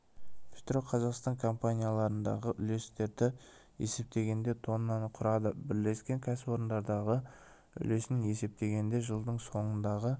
петроқазақстан компанияларындағы үлестерді есептегенде тоннаны құрады бірлескен кәсіпорындардағы үлесін есептегенде жылдың соңындағы